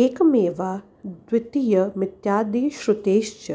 एकमेवाद्वितीयमित्यादिश्रुतेश्च